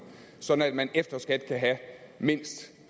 sådan at man efter skat kan have mindst